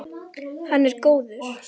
Hann er góður.